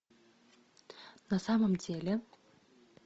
на самом деле